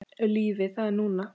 Lífið, það er núna.